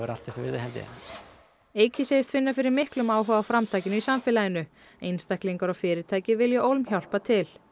allt þess virði held ég eiki segist finna fyrir miklum áhuga á framtakinu í samfélaginu einstaklingar og fyrirtæki vilji ólm hjálpa til